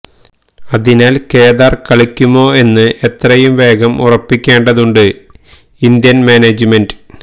അതിനാല് കേദാര് കളിക്കുമോ എന്ന് എത്രയും വേഗം ഉറപ്പിക്കേണ്ടതുണ്ട് ഇന്ത്യന് മാനേജ്മെന്റിന്